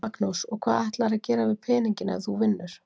Magnús: Og hvað ætlarðu að gera við peninginn ef þú vinnur?